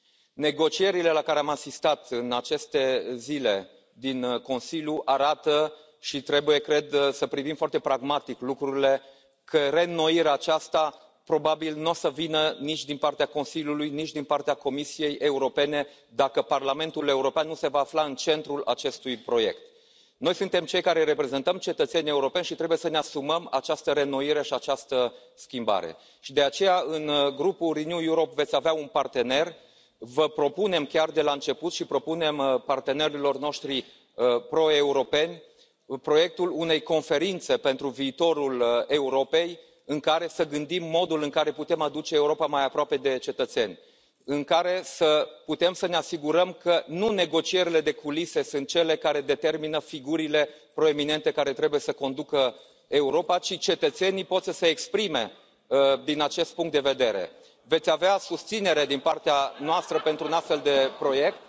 Domnule Președinte, doresc să vă felicit, în primul rând, pentru alegerea de astăzi și să îmi exprim încrederea că, așa cum am început încă de ieri discuțiile, vom lucra foarte bine împreună. Participarea la vot de anul acesta pentru alegerile europene arată că cetățenii europeni au în continuare încredere puternică în acest proiect, iar acest mandat pe care îl avem în față trebuie să stea sub semnul înnoirii. Negocierile la care am asistat în aceste zile din Consiliu arată și trebuie, cred, să privim foarte pragmatic lucrurile că reînnoirea aceasta probabil nu o să vină nici din partea Consiliului, nici din partea Comisiei Europene, dacă Parlamentul European nu se va afla în centrul acestui proiect. Noi suntem cei care reprezentăm cetățenii europeni și trebuie să ne asumăm această reînnoire și această schimbare. De aceea, în Grupul Renew Europe veți avea un partener. Vă propunem chiar de la început și propunem partenerilor noștri pro europeni proiectul unei Conferințe pentru viitorul Europei, în care să gândim modul în care putem aduce Europa mai aproape de cetățeni, în care să putem să ne asigurăm că nu negocierile de culise sunt cele care determină figurile proeminente care trebuie să conducă Europa, ci cetățenii pot să se exprime din acest punct de vedere Veți avea susținere din partea noastră pentru un astfel de proiect...